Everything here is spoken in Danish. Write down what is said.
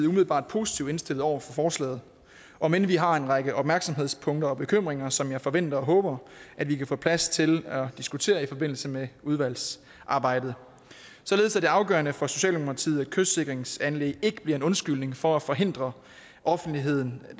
umiddelbart positivt indstillet over for forslaget om end vi har en række opmærksomhedspunkter og bekymringer som jeg forventer og håber vi kan få plads til at diskutere i forbindelse med udvalgsarbejdet således er det afgørende for socialdemokratiet at kystsikringsanlæg ikke bliver en undskyldning for at forhindre offentlighedens